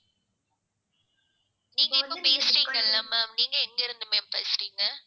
நீங்க இப்ப பேசறீங்கல்ல ma'am நீங்க எங்க இருந்து ma'am பேசுறீங்க?